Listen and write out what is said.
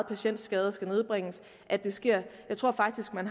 patientskader skal nedbringes at det sker jeg tror faktisk at man